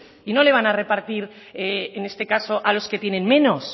y no le van a repartir en este caso a los que tienen menos